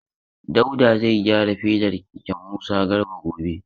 Dauda zai gyara fedar keken Musa Garba gobe.